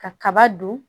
Ka kaba dun